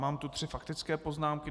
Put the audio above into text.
Mám tu tři faktické poznámky.